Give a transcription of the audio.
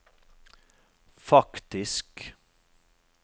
faktisk